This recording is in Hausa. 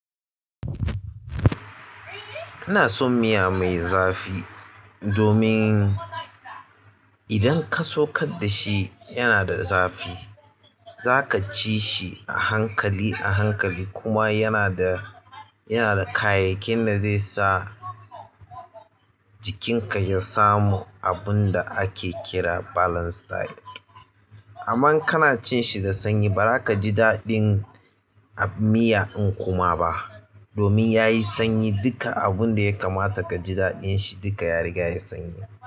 Ina son miya mai zafi domin idan ka saukar dashi yana da zafi. Zaka ci shi a hankali a hankali kuma yana da, yana da kayayyakin da zai sa jikinka ya samu abinda ake kira balance diet, amma in kana cinshi da sanyi baza ka ji daɗin abin miya in kuma ba, domin yayi sanyi duka abun da ya kamata ka ji daɗin shi duka ya riga yayi sanyi.